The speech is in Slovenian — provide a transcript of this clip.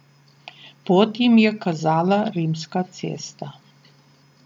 Pot jim je kazala Rimska cesta.